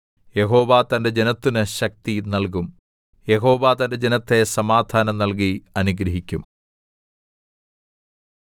യഹോവ തന്റെ ജനത്തിന് ശക്തി നല്കും യഹോവ തന്റെ ജനത്തെ സമാധാനം നല്കി അനുഗ്രഹിക്കും